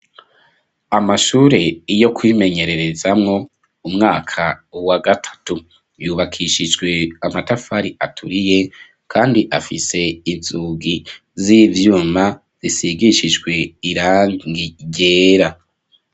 Amashure yo kwimenyererezamwo umwaka wa gatatu yubakishijwe amatafari aturiye kandi afise inzugi z'ivyuma zisigishijwe irangi ryera.